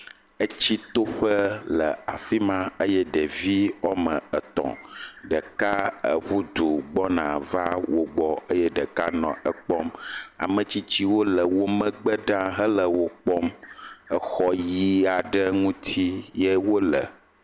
Etsitoƒe le afi ma eye ɖevi wɔme etɔ̃. Ɖeka eƒu du gbɔna va wo gbɔ eye ɖeka nɔ ekpɔm. Ame tsitsiwo le womgbe ɖa henɔ wo kpɔm. exɔ ʋi aɖe ŋuti ye wo le.